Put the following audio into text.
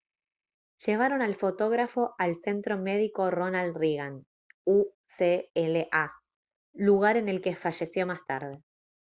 llevaron al fotógrafo al centro médico ronald reagan ucla lugar en el que falleció más tarde